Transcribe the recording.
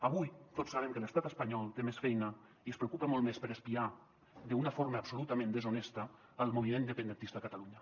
avui tots sabem que l’estat espanyol té més feina i es preocupa molt més per espiar d’una forma absolutament deshonesta el moviment independentista a catalunya